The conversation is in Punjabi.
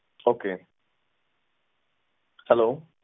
Okay hello